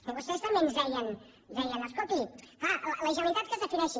i vostès també ens deien escolti clar la generalitat que es defineixi